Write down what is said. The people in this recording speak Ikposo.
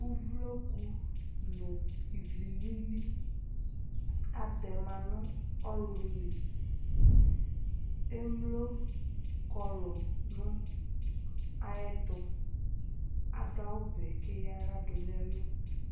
Uvloku nʋ ivi lili atɛ ma nʋ ɔɣlʋ li Emlo kɔlʋ nʋ ayɛtʋ Adʋ awʋvɛ kʋ eyǝ aɣla dʋ nʋ ɛlʋ